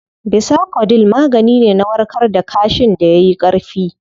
Bisacodyl magani ne na warkar da kaashin da yayi Ƙarfi